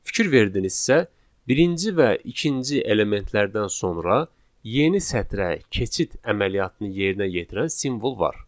Fikir verdinizsə, birinci və ikinci elementlərdən sonra yeni sətrə keçid əməliyyatını yerinə yetirən simvol var.